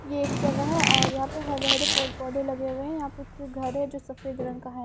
ये एक जगह है और यहां पे हरे-हरे पेड़-पौधे लगे हुए हैं यहां पे एक घर है जो सफेद रंग का है।